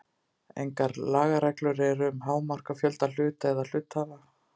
Engar lagareglur eru um hámark á fjölda hluta eða hluthafa.